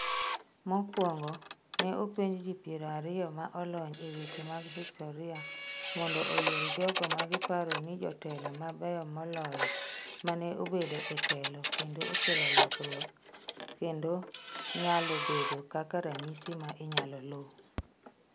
Mokwongo, ne openji ji piero ariyo ma olony e weche mag historia mondo oyier jogo ma giparo ni jotelo mabeyo moloyo mane obedo e telo kendo okelo lokruok kendo nyalo bedo kaka ranyisi ma inyalo luu.